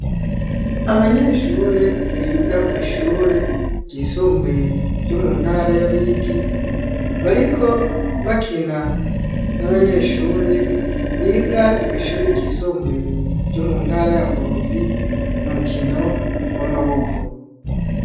Abanyeshure biga kw'ishure ryisumbuye ryo muntara ya Ruyigi ,bariko bakina n'abanyeshure biga kw'ishure ryisumbuye ryo muntara ya Ngozi ,umukino w'amaboko.